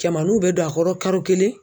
Cɛmaninw bɛ don a kɔrɔ karo kelen.